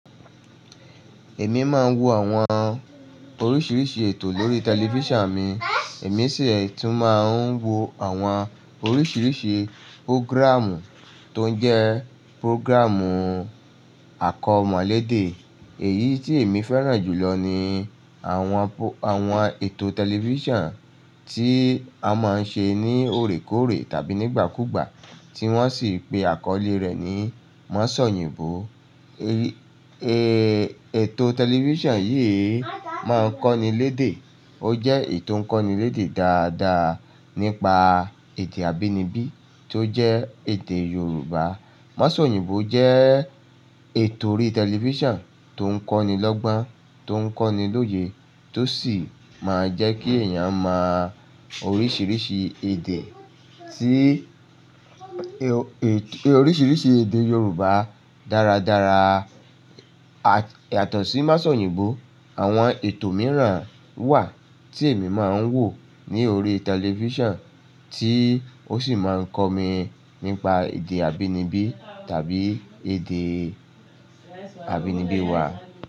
Èmi máa ń wò àwọn oríṣiríṣi ètò lórí tẹlifísàn mi. Èmi sì tún máa ń wò àwọn oríṣiríṣi programme tó ń jẹ́ programme àkọ́mọlédè. Èyí tí èmi fẹ́ràn jùlọ ni àwọn, àwọn ètò tẹlifísàn tí a máa ń ṣe ní oòrékòóré tàbí nígbàkúugbà tí wọ́n sì ń pè àkọ́lé rẹ̀ ní Masoyinbo. Ètò tẹlifísàn yìí máa ń kọ́ni lédè. Ó jẹ́ èyí tò ń kọ́ni lédè dáadáa nípa èdè abínibí tó jẹ́ èdè Yorùbá. Masoyinbo jẹ́ ètò orí tẹlifísàn tó ń kọ́nilọ́gbọ́n, tó ń kọ́nilóye, tó sì máa ń jẹ́ kí èèyàn mọ oríṣiríṣi èdè tí, oríṣiríṣi èdè Yorùbá dáradára. Yàtọ̀ sí masoyinbo, àwọn ètò mìíràn wà tí èmi máa ń wò ní orí tẹlifísàn tí ó sì máa ń kọ mi nípa èdè abínibí tàbí èdè abínibí wà.